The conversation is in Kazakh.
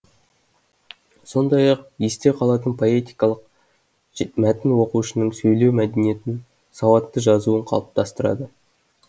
сондай ақ есте қалатын поэтикалық мәтін оқушының сөйлеу мәдениетін сауатты жазуын қалыптастырады